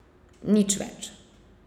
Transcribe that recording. Nič več.